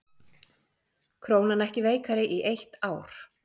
Krónan ekki veikari í eitt ár